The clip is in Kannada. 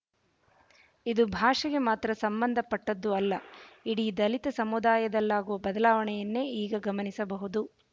ಇದು ಭಾಷೆಗೆ ಮಾತ್ರ ಸಂಬಂಧಪಟ್ಟದ್ದು ಅಲ್ಲ ಇಡೀ ದಲಿತ ಸಮುದಾಯದಲ್ಲಾಗುವ ಬದಲಾವಣೆಯನ್ನೇ ಈಗ ಗಮನಿಸಬಹುದು